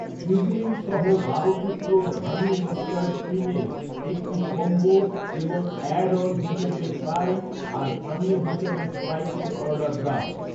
seasoning সহ বারো টুকরোর হানি মাস্টার্ড উইংয়ের একটি কম্বো এবং অ্যাড অন হিসেবে ফ্রাই আর পানীয় হিসেবে স্প্রাইটের অর্ডার দাও